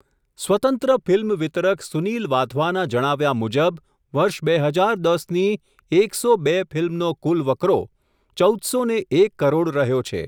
સ્વતંત્ર ફિલ્મવિતરક સુનિલ વાધવાના જણાવ્યા મુજબ, વર્ષ બે હજાર દસ ની એક સો બે ફિલ્મનો કુલ વકરો, ચૌદ સો ને એક કરોડ રહ્યો છે.